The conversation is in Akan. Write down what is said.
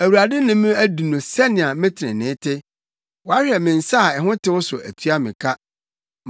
Awurade ne me adi no sɛnea me trenee te; wahwɛ me nsa a ho tew so atua me ka.